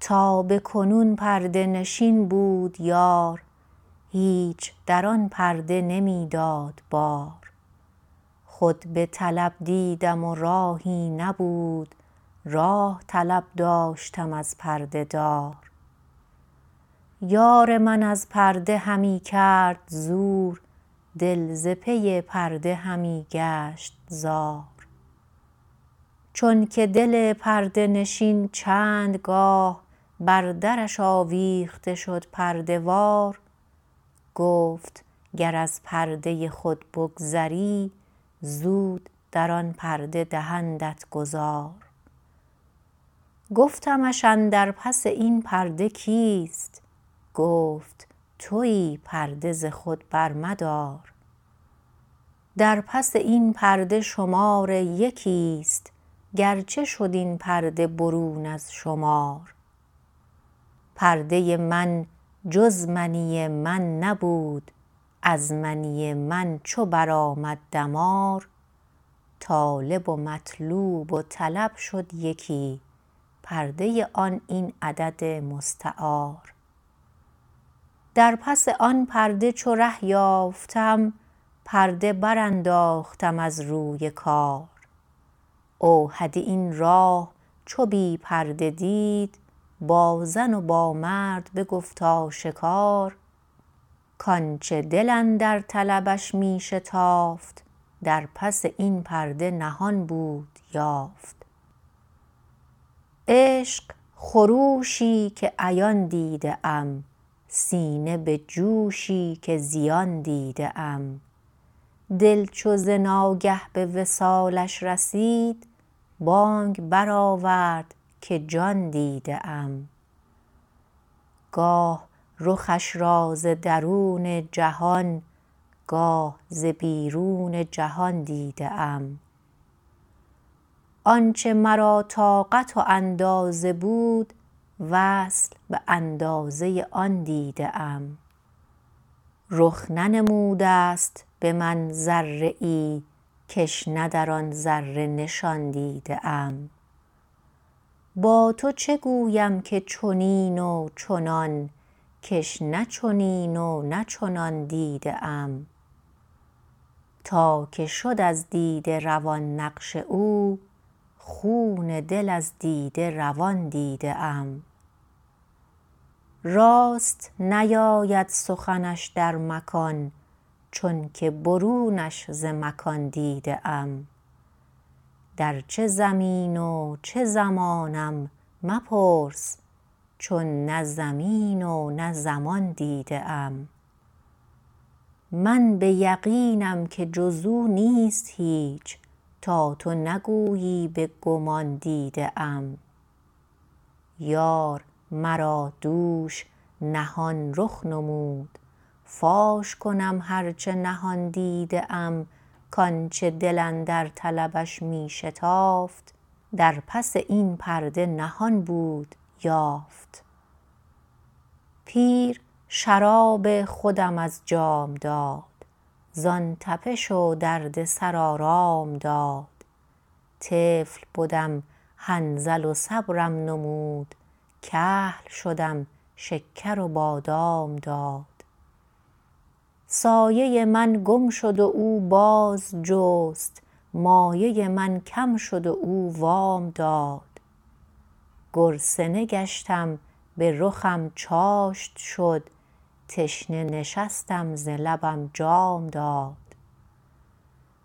تا به کنون پرده نشین بود یار هیچ در آن پرده نمی داد بار خود به طلب دیدم و راهی نبود راه طلب داشتم از پرده دار یار من از پرده همی کرد زور دل ز پی پرده همی گشت زار چون که دل پرده نشین چندگاه بر درش آویخته شد پرده وار گفت گر از پرده خود بگذری زود در آن پرده دهندت گذار گفتمش اندر پس این پرده کیست گفت تویی پرده ز خود برمدار در پس این پرده شمار یکیست گرچه شد این پرده برون از شمار پرده من جز منی من نبود از منی من چو بر آمد دمار طالب و مطلوب و طلب شد یکی پرده آن این عدد مستعار در پس آن پرده چو ره یافتم پرده برانداختم از روی کار اوحدی این راه چو بی پرده دید با زن و با مرد بگفت آشکار کانچه دل اندر طلبش می شتافت در پس این پرده نهان بود یافت عشق خروشی که عیان دیده ام سینه به جوشی که زیان دیده ام دل چو ز ناگه به وصالش رسید بانگ برآورد که جان دیده ام گاه رخش را ز درون جهان گاه ز بیرون جهان دیده ام آنچه مرا طاقت و اندازه بود وصل باندازه آن دیده ام رخ ننمودست به من ذره ای کش نه در آن ذره نشان دیده ام با تو چه گویم که چنین و چنان کش نه چنین و نه چنان دیده ام تا که شد از دیده روان نقش او خون دل از دیده روان دیده ام راست نیاید سخنش در مکان چونکه برونش ز مکان دیده ام در چه زمین و چه زمانم مپرس چون نه زمین و نه زمان دیده ام من به یقینم که جزو نیست هیچ تا تو نگویی به گمان دیده ام یار مرا دوش نهان رخ نمود فاش کنم هرچه نهان دیده ام کانچه دل اندر طلبش می شتافت در پس این پرده نهان بود یافت پیر شراب خودم از جام داد زان تپش و درد سر آرام داد طفل بدم حنظل و صبرم نمود کهل شدم شکر و بادام داد سایه من گم شد و او باز جست مایه من کم شد و او وام داد گرسنه گشتم بر خم چاشت شد تشنه نشستم ز لبم جام داد